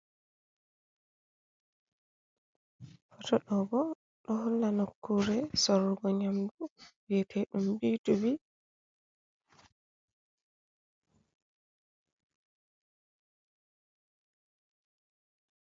Fotto ɗo bo ɗo holla nokkure sorrugo nyamdu vi'ete ɗum bii tu bii.